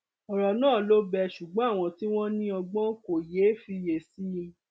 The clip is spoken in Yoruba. ọrọ náà ló bẹẹ ṣùgbọn àwọn tí wọn ní ọgbọn kò yéé fiyè sí i